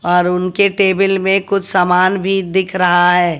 और उनके टेबिल में कुछ सामान भी दिख रहा है।